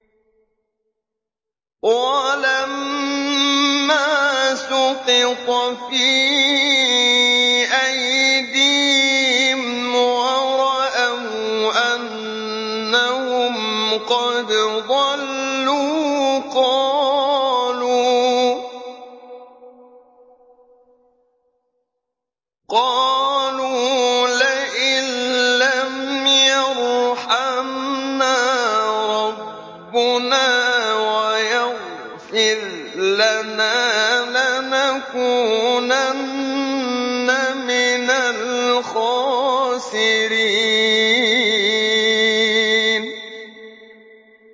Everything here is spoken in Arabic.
وَلَمَّا سُقِطَ فِي أَيْدِيهِمْ وَرَأَوْا أَنَّهُمْ قَدْ ضَلُّوا قَالُوا لَئِن لَّمْ يَرْحَمْنَا رَبُّنَا وَيَغْفِرْ لَنَا لَنَكُونَنَّ مِنَ الْخَاسِرِينَ